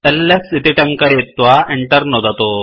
LS इति टङ्कयित्वा Enter नुदतु